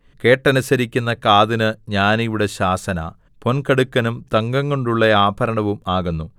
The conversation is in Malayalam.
കേട്ടനുസരിക്കുന്ന കാതിന് ജ്ഞാനിയുടെ ശാസന പൊൻകടുക്കനും തങ്കംകൊണ്ടുള്ള ആഭരണവും ആകുന്നു